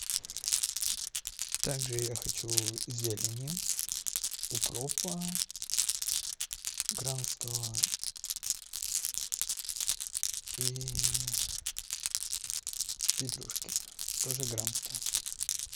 также я хочу зелени укропа грамм сто и петрушки тоже грамм сто